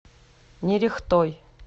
нерехтой